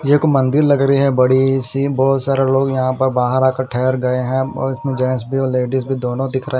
एक मंदिर लग रही है बड़ी सी बहोत सारे लोग यहाँ पर बाहर आकर ठहर गए हैं अं और इसमें जेन्स भी और लेडिज़ भी दोनों दिख रहे--